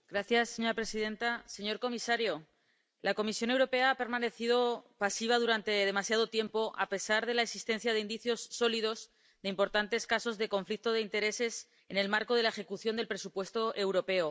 Señora presidenta, señor comisario, la Comisión Europea ha permanecido pasiva durante demasiado tiempo, a pesar de la existencia de indicios sólidos de importantes casos de conflicto de intereses en el marco de la ejecución del presupuesto europeo.